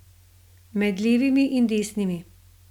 Med levimi in desnimi ...